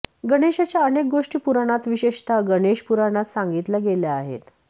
गणेशाच्या अनेक गोष्टी पुराणात विशेषतः गणेश पुराणात सांगितल्या गेल्या आहेत